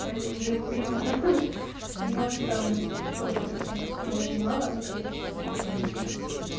поэтому я его понимаю и может там сколько достанется но очень мало скорее всего с этих денег